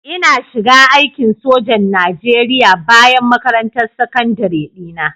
Ina shiga aikin sojan Najeriya bayan makarantar sakandare dina